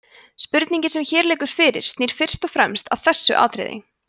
spurningin sem hér liggur fyrir snýr fyrst og fremst að þessu atriði